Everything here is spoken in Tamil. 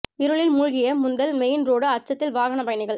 இருளில் மூழ்கிய முந்தல் மெயின் ரோடு அச்சத்தில் வாகன பயணிகள்